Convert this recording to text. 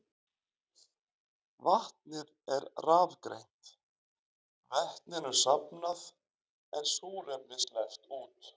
Vatnið er rafgreint, vetninu safnað en súrefni sleppt út.